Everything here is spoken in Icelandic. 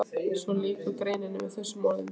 Svo lýkur greininni með þessum orðum